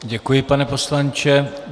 Děkuji, pane poslanče.